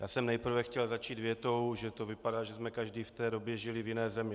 Já jsem nejprve chtěl začít větou, že to vypadá, že jsme každý v té době žili v jiné zemi.